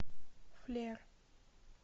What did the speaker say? флер